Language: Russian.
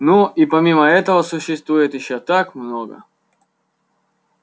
ну и помимо этого существует ещё так много